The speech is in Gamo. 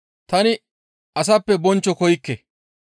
«Tani asappe bonchcho koykke.